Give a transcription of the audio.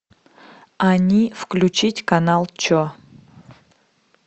они включить канал че